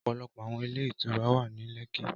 Ọpọlọpọ awọn ilé ìtura wa ni lekki